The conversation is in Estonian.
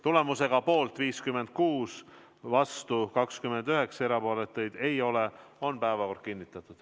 Tulemusega poolt 56, vastu 29, erapooletuid ei ole on päevakord kinnitatud.